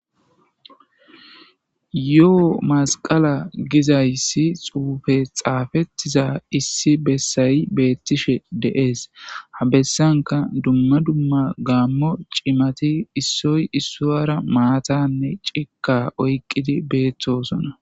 yo7o masqala gizayssi xuufe xaafettiza issi bessayi beettishe deees ha bessanka dumma dumma gaammo cimati issoy issoara maatanne cika oyqqidi beeththosona